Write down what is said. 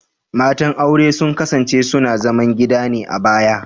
Matan aure sun kasance suna zaman gida ne a baya